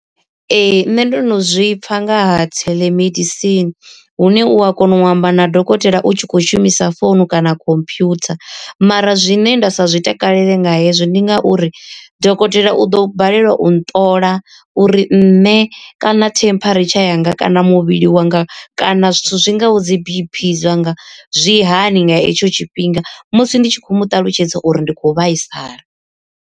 Ee nṋe ndo no zwipfa nga ha theḽemedisini, hune u a kona u amba na dokotela u tshi kho shumisa founu kana computer. Mara zwine nda sa zwi takalele nga hezwi ndi ngauri dokotela u ḓo balelwa u nṱola uri nṋe kana temperature yanga kana muvhili wanga kana zwithu zwi ngaho dzi B_P zwa nga zwi hani nga etsho tshifhinga musi ndi tshi khou mu ṱalutshedza uri ndi khou vhaisala.